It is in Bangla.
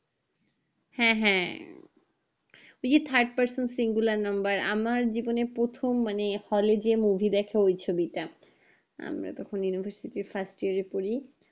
হ্যাঁ হ্যাঁ ওই জি third person singular number আমার জীবনে প্রথম মানে hall এ যে মুভি দেখে ওই movie টা আমরা তখন university first year এ পড়ি